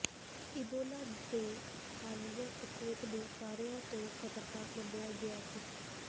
Ebola ਦੇ ਹਾਲੀਆ ਪ੍ਰਕੋਪ ਨੂੰ ਸਾਰਿਆਂ ਤੋਂ ਖ਼ਤਰਨਾਕ ਮੰਨਿਆ ਗਿਆ ਸੀ